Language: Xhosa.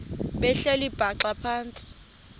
behleli bhaxa phantsi